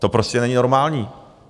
To prostě není normální.